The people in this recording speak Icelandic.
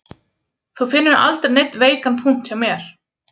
Þú finnur aldrei neinn veikan punkt hjá mér